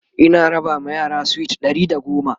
Ina raba ma yara sweet Ɗari da goma